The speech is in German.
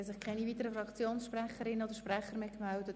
Es haben sich keine weiteren Fraktionen gemeldet.